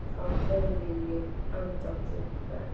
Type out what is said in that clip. Þá hefði ég andað léttar.